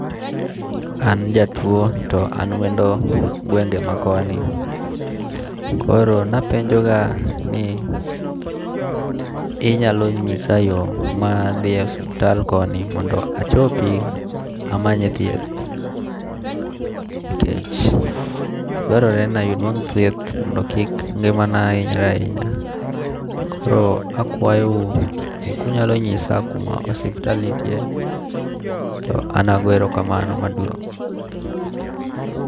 An jatuo to an wendo gwenge ma koni. Koro napenjo ga ni inyalo nyisa yo madhi osuptal koni mondo achopi amanye thieth. Nikech dwarore ni anwang' thieth mondo kik ngimana hinyre ahinya. Koro akwayou ni kunyalo nyisa kuma osuptal nitie to an ago ero kamano maduong'.